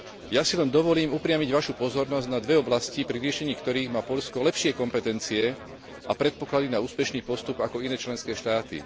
Ja si len dovolím upriamiť Vašu pozornosť na dve oblasti, pri riešení ktorých má Poľsko lepšie kompetencie a predpoklady na úspešný postup ako iné členské štáty.